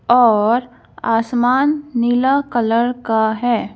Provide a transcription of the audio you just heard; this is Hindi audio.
औरआसमान नीला कलर का है।